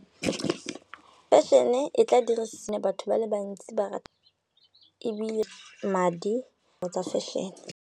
Fashion-e e tla batho ba le bantsi ba rata ebile madi or tsa fashion-e.